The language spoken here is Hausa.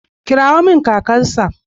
Kirawo min kakarsa.